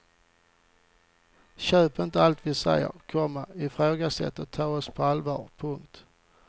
Köp inte allt vi säger, komma ifrågasätt och ta oss på allvar. punkt